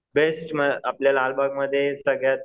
best म्हणजे आपल्या लालबागमध्ये सगळ्यात